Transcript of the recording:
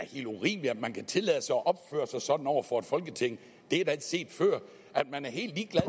helt urimeligt at man kan tillade sig at opføre sig sådan over for et folketing det er da ikke set før at man er helt ligeglad